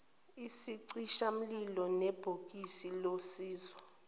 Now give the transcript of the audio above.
isicishamlilo nebhokisi losizo